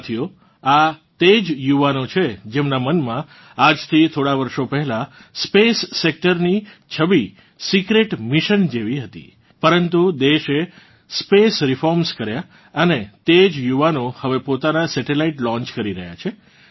સાથીઓ આ તે જ યુવાનો છે જેમનાં મનમાં આજથી થોડાં વર્ષો પહેલાં સ્પેસ સેક્ટર ની છબી સીક્રેટ મિશન જેવી હતી પરંતુ દેશે સ્પેસ રિફોર્મ્સ કર્યાં અને તે જ યુવાનો હવે પોતાનાં સેટેલાઇટ લોન્ચ કરી રહ્યાં છે